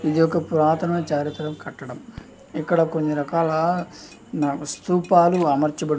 ఒక పురాతన చారిత్మక కట్టడం ఇక్కడ కొన్ని రకాల స్థూపాలు అమర్చబడి --